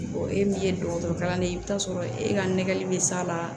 e min ye dɔgɔtɔrɔ kalan ne ye i bɛ taa sɔrɔ e ka nɛgɛli bɛ s'a la